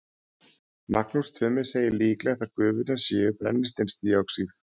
Magnús Tumi segir líklegt að gufurnar séu brennisteinsdíoxíð.